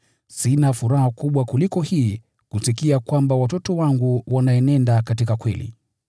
Sina furaha kubwa kuliko hii, kusikia kwamba watoto wangu wanaenenda katika kweli.